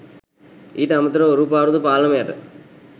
ඊට අමතරව ඔරු පාරුද පාලම යට